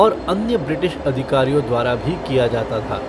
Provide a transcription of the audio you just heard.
और अन्य ब्रिटिश अधिकारियों द्वारा भी किया जाता था।